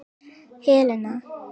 Helena